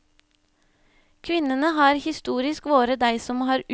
Kvinnene har historisk vore dei som har utvikla både form og innhald i barnehagen.